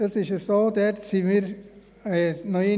Dort gingen wir noch einmal dahinter.